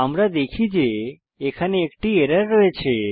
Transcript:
আমরা দেখি যে এখানে একটি এরর রয়েছে